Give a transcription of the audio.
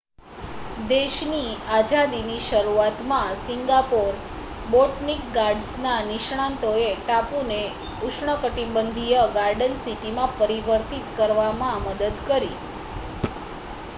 દેશની આઝાદીની શરૂઆતમાં સિંગાપોર બોટનિક ગાર્ડન્સના નિષ્ણાતોએ ટાપુને ઉષ્ણકટિબંધીય ગાર્ડન સિટીમાં પરિવર્તિત કરવામાં મદદ કરી